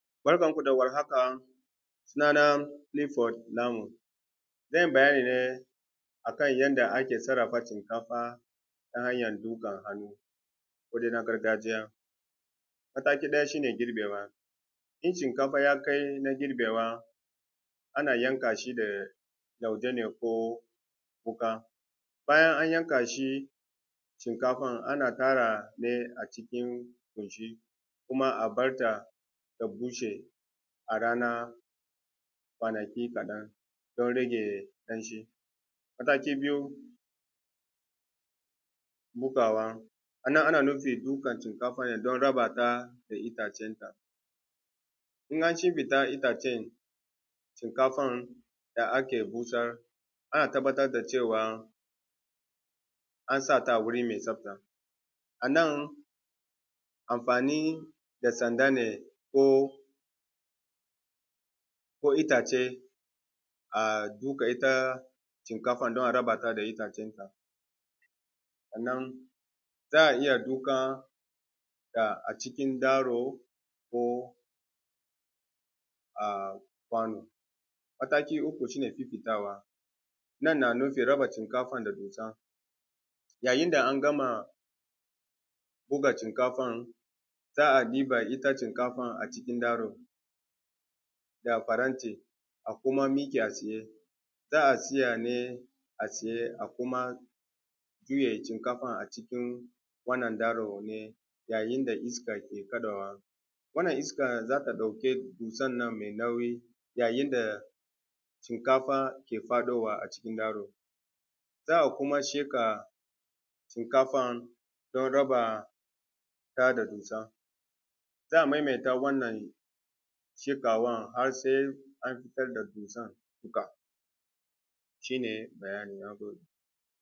Barkan ku da warhaka sunana Kilifod Namu zan yi bayani ne akan yadda ake sarrafa shinkafa ta hanyan dukar hannu ko dai na gargajiya, mataki na ɗaya shi ne girbe wa in shinkafa ya kai na girbewa ana yanka shi da lauje ne ko wuka bayan an yanka shi shinkafan ana ƙara ne a cikin buci kuma a bar ta ta bushe a rana kwanaki kaɗan don rage datti. Mataki biyu bugawan a nan ana nufin buga shinkafa ya ɗan raba ta da itacenta in an ce ma ita ce shinkafan da aka busar ana tabbatar da cewan an sata a wuri mai tsafta, a nan anfani da sanda ne ko itace a duga ita shinkafan don a rabata da itacen ta sannan za a iya dukanta a cikin daro ko a kwano. Mataki uku shi ne fifitawa, nan na nufin raba shinkafan da dusa yayin da an gama buga shinkafan za a ɗiba ita shinkafan darun da faranti a kuma miƙa tsaye za a tsiya ne a tsaye a kuma juye shinkafan a cikin wannan darun yayin da iska ke kaɗawa wannan iskan za ta ɗauke su sannan me nauyi yayin da shinkfa ke faɗowa a cikin darun za a kuma sheƙe shinkafan don raba ta da dussan, za a maimaita wannan shiƙawan har se an fitar da dussan duka shi ne bayani na game da wannan.